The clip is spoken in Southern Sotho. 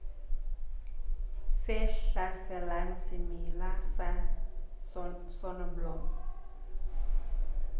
tse hlaselang semela sa soneblomo